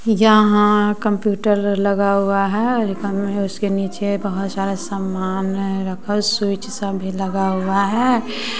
यहाँ कंप्यूटर लगा हुआ है उसके नीचे बहोत सारा समान है रखल स्विच सा भी लगा हुआ है।